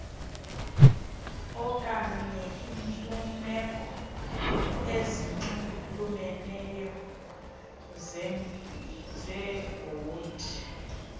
okanyeiimfuneko ezinxulumeneyo zebhodi